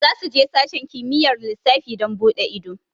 Za su je sashen kimiyyar lissafi don buɗe ido